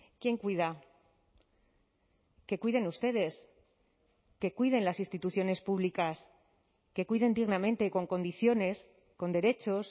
quién cuida que cuiden ustedes que cuiden las instituciones públicas que cuiden dignamente y con condiciones con derechos